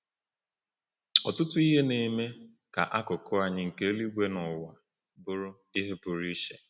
Ọtụtụ ihe na-eme ka akụkụ anyị nke eluigwe na ụwa bụrụ ihe pụrụ iche.